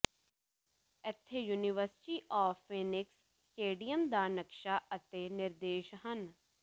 ਇੱਥੇ university of Phoenix stadium ਦਾ ਨਕਸ਼ਾ ਅਤੇ ਨਿਰਦੇਸ਼ ਹਨ